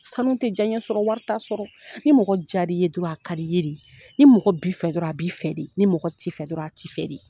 Sanu tɛ diyaɲɛ sɔrɔ wari t'a sɔrɔ ni mɔgɔ jar'i ye dɔrɔn a ka d'i ye de ni mɔgɔ b'i fɛ dɔrɔn a b'i fɛ de ni mɔgɔ t'i fɛ dɔrɔn a t'i fɛ.